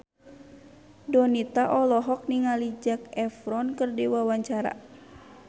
Donita olohok ningali Zac Efron keur diwawancara